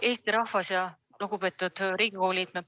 Hea Eesti rahvas ja lugupeetud Riigikogu liikmed!